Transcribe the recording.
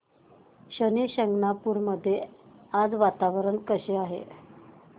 शनी शिंगणापूर मध्ये आज वातावरण कसे आहे